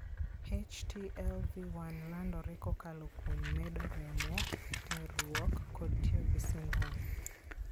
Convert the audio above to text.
HTLV 1 landore kokalo kuom medo remo , terruok, kod tiyo gi sindan.